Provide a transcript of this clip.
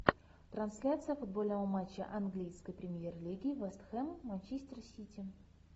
трансляция футбольного матча английской премьер лиги вест хэм манчестер сити